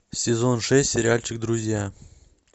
сезон шесть сериальчик друзья